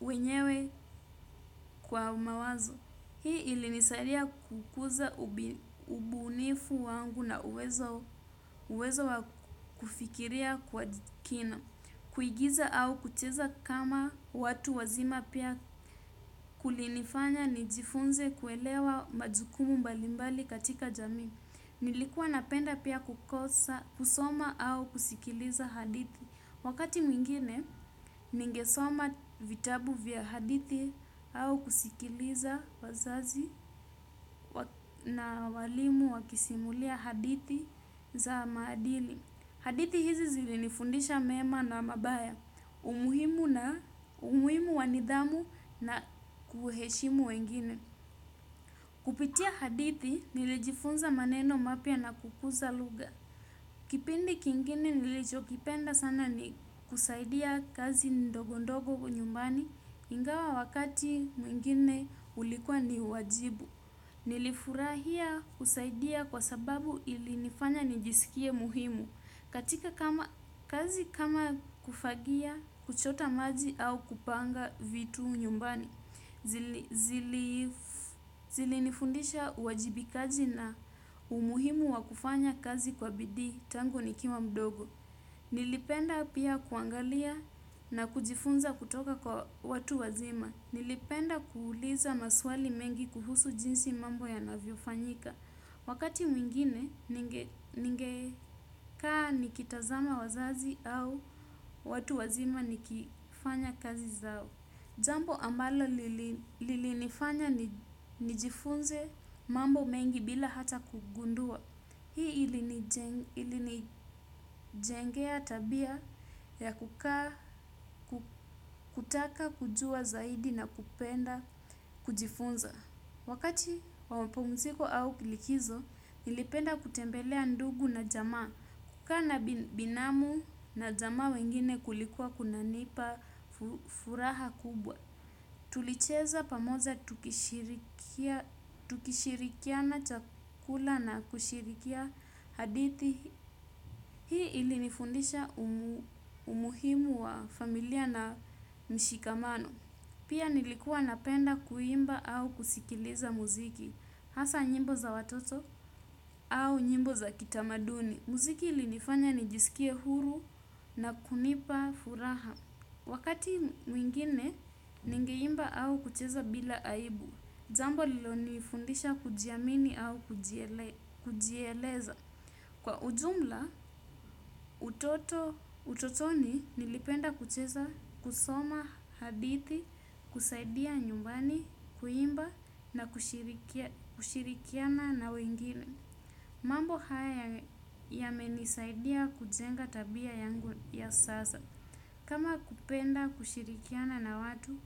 mwenyewe kwa mawazo. Hii ilinisaidia kukuza ubunifu wangu na uwezo wa kufikiria kwa kina. Kuigiza au kucheza kama watu wazima pia kulinifanya nijifunze kuelewa majukumu mbalimbali katika jamii. Nilikuwa napenda pia kusoma au kusikiliza hadithi. Wakati mwingine, ningesoma vitabu vya hadithi au kusikiliza wazazi na walimu wakisimulia hadithi za maadili. Hadithi hizi zilinifundisha mema na mabaya, umuhimu wa nidhamu na kuheshimu wengine. Kupitia hadithi, nilijifunza maneno mapya na kukuza lugha. Kipindi kingine nilichokipenda sana ni kusaidia kazi ndogo ndogo nyumbani ingawa wakati mwingine ulikuwa ni wajibu. Nilifurahia kusaidia kwa sababu ilinifanya nijisikie muhimu katika kazi kama kufagia, kuchota maji au kupanga vitu nyumbani. Zilinifundisha uwajibikaji na umuhimu wa kufanya kazi kwa bidii tangu nikiwa mdogo. Nilipenda pia kuangalia na kujifunza kutoka kwa watu wazima. Nilipenda kuuliza maswali mengi kuhusu jinsi mambo yanavyofanyika wakati mwingine ningekaa nikitazama wazazi au watu wazima nikifanya kazi zao. Jambo ambalo lilinifanya nijifunze mambo mengi bila hata kugundua. Hii ilinijengea tabia ya kutaka kujua zaidi na kupenda kujifunza. Wakati wa mapumziko au likizo, nilipenda kutembelea ndugu na jamaa, kukaa na binamu na jamaa wengine kulikuwa kunanipa furaha kubwa. Tulicheza pamoja tukishirikiana chakula na kushirikia hadithi. Hii ilinifundisha umuhimu wa familia na mshikamano. Pia nilikuwa napenda kuimba au kusikiliza muziki, hasa nyimbo za watoto au nyimbo za kitamaduni. Muziki ilinifanya nijisikie huru na kunipa furaha. Wakati mwingine ningeimba au kucheza bila aibu, jambo lililonifundisha kujiamini au kujieleza. Kwa ujumla, utotoni nilipenda kucheza, kusoma hadithi, kusaidia nyumbani, kuimba na kushirikiana na wengine. Mambo haya yamenisaidia kujenga tabia yangu ya sasa. Kama kupenda kushirikiana na watu,